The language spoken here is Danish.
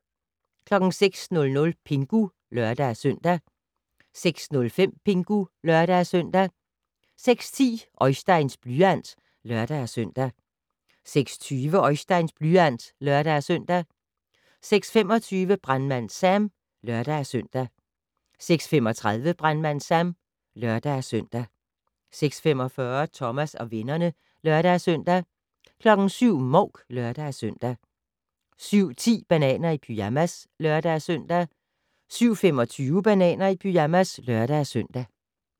06:00: Pingu (lør-søn) 06:05: Pingu (lør-søn) 06:10: Oisteins blyant (lør-søn) 06:20: Oisteins blyant (lør-søn) 06:25: Brandmand Sam (lør-søn) 06:35: Brandmand Sam (lør-søn) 06:45: Thomas og vennerne (lør-søn) 07:00: Mouk (lør-søn) 07:10: Bananer i pyjamas (lør-søn) 07:25: Bananer i pyjamas (lør-søn)